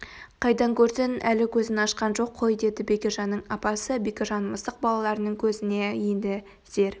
қайдан көрсін әлі көзін ашқан жоқ қой деді бекежанның апасы бекежан мысық балаларының көзіне енді зер